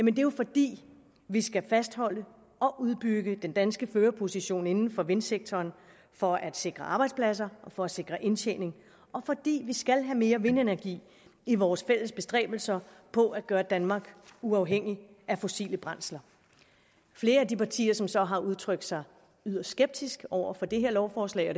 er jo fordi vi skal fastholde og udbygge den danske førerposition inden for vindsektoren for at sikre arbejdspladser og for at sikre indtjening og fordi vi skal have mere vindenergi i vores fælles bestræbelser på at gøre danmark uafhængig af fossile brændsler flere af de partier som så har udtrykt sig yderst skeptisk over for det her lovforslag og